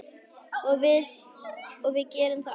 Við gerum það oft.